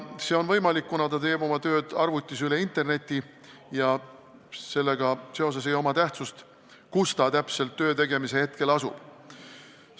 See on võimalik, kuna ta teeb tööd arvutis interneti kaudu ja seetõttu ei oma tähtsust, kus ta töö tegemise ajal täpselt asub.